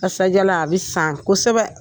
Kasadialan a bɛ san kosɛbɛ!